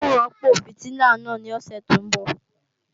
N ó rọ́pò fìtílà náà ní òsè tó ń bọ̀